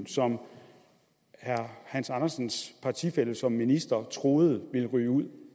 som herre hans andersens partifælle som minister troede der vil ryge ud